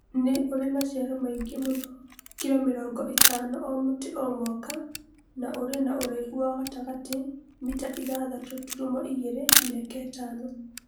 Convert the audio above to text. Nĩ ũrĩ maciaro maingĩ mũno (kilo mĩrongo ĩtano o mũtĩ o mwaka) na ũrĩ na ũraihu wa gatagatĩ (mita ithathatũ tũrumo igere mĩaka itano).